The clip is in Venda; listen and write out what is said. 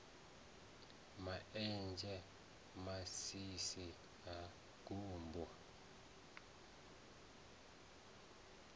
ma enzhe masisi ha gumbu